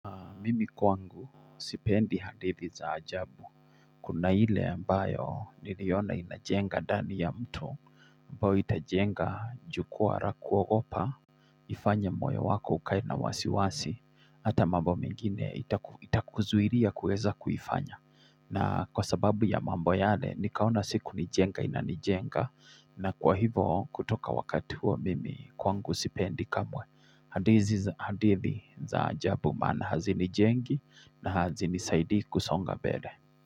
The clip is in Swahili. Mimi kwangu sipendi hadithi za ajabu Kuna ile ambayo niliona inajenga ndani ya mto ambayo itajenga jukwa la kuogopa ifanye moyo wako ukae na wasiwasi Hata mambo mengine itakuzuilia kuweza kuifanya na kwa sababu ya mambo yale nikaona si kunijenga inanijenga na kwa hivyo kutoka wakati huo mimi kwangu sipendi kamwe hadithi za hadithi za ajabu maana hazinijengi na hazinisaidii kusonga bebe.